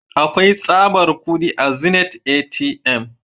Akwai tsabar kudi a zenith ATM.